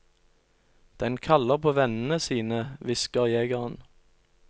Den kaller på vennene sine, hvisker jegeren.